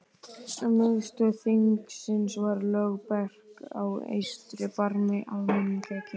Miðstöð þingsins var Lögberg á eystra barmi Almannagjár.